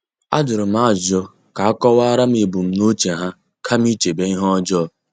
Ajurum ajụjụ ka akowaram ebumnuche ha kama ichebe ihe ọjọọ.